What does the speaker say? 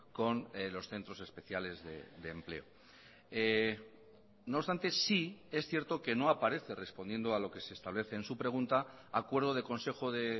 con los centros especiales de empleo no obstante sí es cierto que no aparece respondiendo a lo que se establece en su pregunta acuerdo de consejo de